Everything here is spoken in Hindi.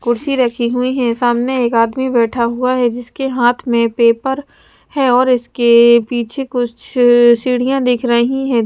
कुर्सी रखी हुई है सामने एक आदमी बैठा हुआ है जिसके हाथ में पेपर है और इसके अ पीछे कुछ अ सीढ़ियां दिख रही हैं।